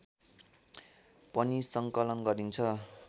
पनि सङ्कलन गरिन्छ